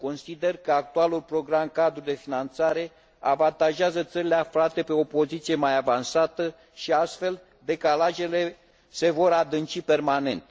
Consider că actualul program cadru de finanțare avantajează țările aflate pe o poziție mai avansată și, astfel, decalajele se vor adânci permanent.